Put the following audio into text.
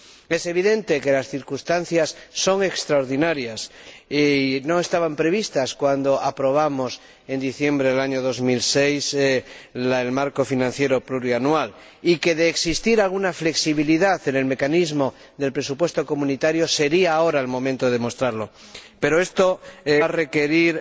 Es evidente que las circunstancias son extraordinarias y no estaban previstas cuando aprobamos, en diciembre del año 2006, el marco financiero plurianual y que, de existir alguna flexibilidad en el mecanismo del presupuesto comunitario, sería ahora el momento de demostrarlo, pero esto va a requerir